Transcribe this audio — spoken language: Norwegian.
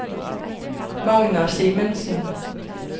Magna Simensen